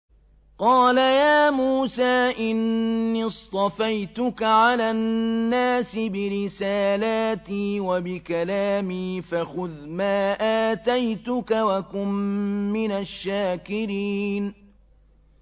قَالَ يَا مُوسَىٰ إِنِّي اصْطَفَيْتُكَ عَلَى النَّاسِ بِرِسَالَاتِي وَبِكَلَامِي فَخُذْ مَا آتَيْتُكَ وَكُن مِّنَ الشَّاكِرِينَ